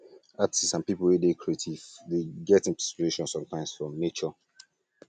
artist and pipo wey dey creative dey get inspiration sometimes from nature